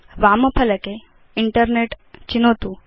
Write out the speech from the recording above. वाम फलके इन्टरनेट् चिनोतु